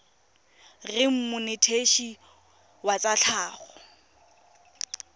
reng monetetshi wa tsa tlhago